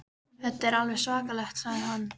Þetta er alveg svakalegt sagði hann.